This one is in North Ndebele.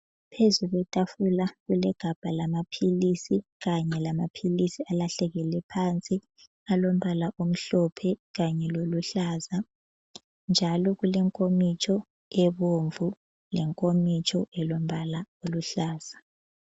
Phezu kwetafula kulegabha lamaphilisi kanye lamaphilisi alahlekele phansi, alombala omhlophe kanye loluhlaza. Njalo kulenkomitsho ebomvu lenkomitsho elombala oluhlaza.